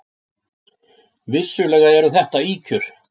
Vissulega eru þetta ýkjur.